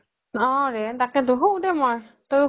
অ ৰে তাকেই টো শু দে মই